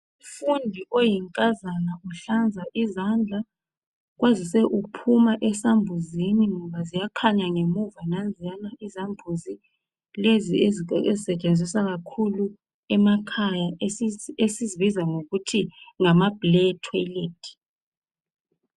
Umfundi oyinkazana uhlanza izandla kwazise uphuma ezambuzini ngoba ziyakhanya ngemuva nanziyana izambuzi lezi ezisetshenziswa kakhulu emakhaya esizibiza ngokuthi ngama Blair toilet.